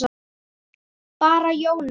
Bara Jóni.